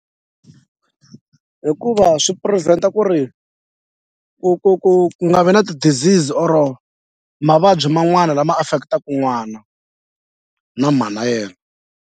Hikuva swi prevent-a ku ri ku ku ku nga vi na ti-disease or mavabyi man'wana lama affect-aka n'wana na mhana yena.